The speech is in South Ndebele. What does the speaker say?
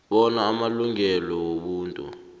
bona amalungelo wobuntu